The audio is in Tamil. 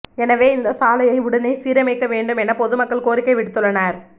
எனவே இந்த சாலையை உடனே சீரமைக்க வேண்டும் என பொதுமக்கள் கோரிக்கை விடுத்துள்ளனா்